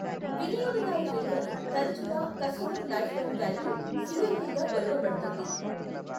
వినియోగదారు విలువను తరచుగా customer lifetime value, CLV గా కొలవబడుతుంది.